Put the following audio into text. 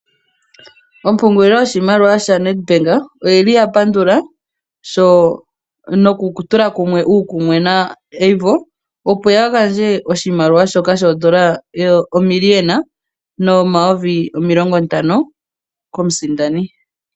Ompungulilo yoshimaliwa shaNedbank oyili yapandula sho, nokutula kumwe uukumwe naAVO, opo yagandje oshimaliwa shoka shoondola omiliyona nomayovi omilongo ntano komusindani.